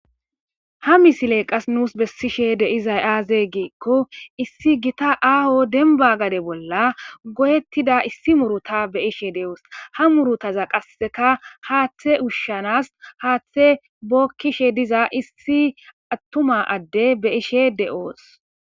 Ha misile nus qa bessishee de7izay aazee giikko issi githa aaho dembbaa gade bolla goyeththida issi muruthaza be7ishee de7oos; ha qassekka haaththe ushshanaas haaththee bookkishe dizayssa issi aththuma addee be7ishee de7oos.